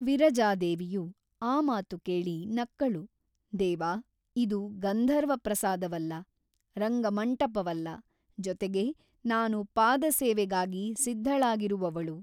ವಿರಜಾದೇವಿಯು ಆ ಮಾತು ಕೇಳಿ ನಕ್ಕಳು ದೇವಾ ಇದು ಗಂಧರ್ವ ಪ್ರಸಾದವಲ್ಲ ರಂಗಮಂಟಪವಲ್ಲ ಜೊತೆಗೆ ನಾನು ಪಾದಸೇವೆಗಾಗಿ ಸಿದ್ಧಳಾಗಿರುವವಳು.